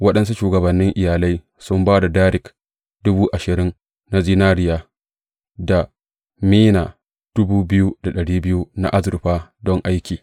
Waɗansu shugabannin iyalai sun ba da darik dubu ashirin na zinariya da mina na azurfa don aiki.